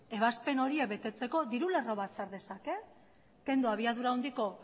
ebazpen horiek betetzeko diru lerro bat sar dezake kendu abiadura handiko